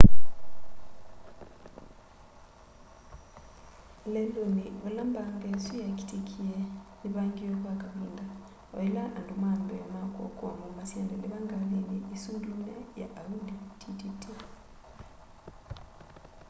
leluni vala mbanga isu yakitikie nivangiwe kwa kavinda oila andu ma mbee ma kuokoa maumasya ndeleva kgalini isu ndune ya audi tt